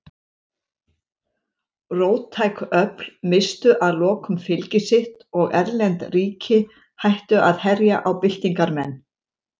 Róttæk öfl misstu að lokum fylgi sitt og erlend ríki hættu að herja á byltingarmenn.